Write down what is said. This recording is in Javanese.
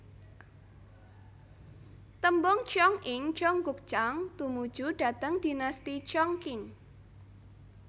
Tembung cheong ing cheonggukjang tumuju dhateng Dinasti Cheong Qing